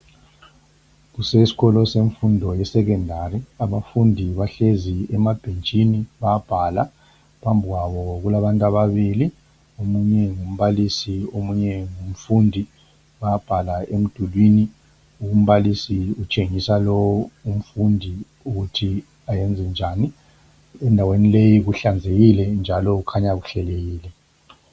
Kuseskolo semfundo ye secondary , abafundi bahlezi emabhentshini bayabhala , phambi kwabo kulabantu ababili , omunye ngumbalisi omunye ngumfundi , bayabhala emdulini , umbalisi utshengisa lowo umfundi ukuthi ayenze njani , endaweni leyi kuhlanzekile njalo kukhanya kuhlelekile